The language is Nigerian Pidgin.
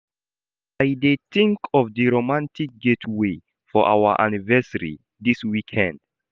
I dey tink of di romantic getaway for our anniversary dis weekend.